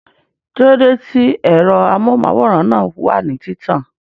Kíló dé tí ẹ̀rọ amóhùnmáwòrán náà wà ní títàn?